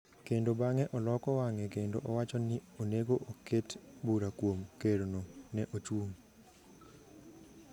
kendo bang’e oloko wang’e kendo owacho ni onego oket bura kuom Kerno? ne ochung’.